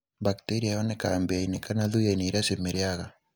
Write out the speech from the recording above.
Bacteria yonekaga mbĩanĩ na thuyainĩ iria cimĩrĩaga